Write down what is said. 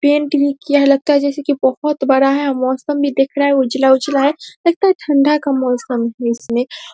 painting किया लगता है जैसे की ये बहुत बड़ा है मौसम भी दिख रहा है उजला-उजला है लगता है ठंडा का मौसम है इसमें |